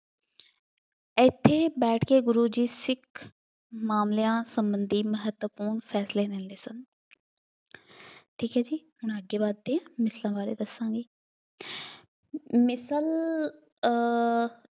ਇੱਥੇ ਬੈਠ ਕੇ ਗੁਰੂ ਜੀ ਸਿੱਖ ਮਾਮਲਿਆਂ ਸੰਬੰਧੀ ਮਹੱਤਵਪੂਰਨ ਫੈਸਲੇ ਲੈਂਦੇ ਸਨ ਠੀਕ ਹੈ ਜੀ, ਹੁਣ ਅੱਗੇ ਵੱਧਦੇ ਮਿਸਲਾਂ ਬਾਰੇ ਦੱਸਾਂਗੇ, ਮਿਸਲ ਅਹ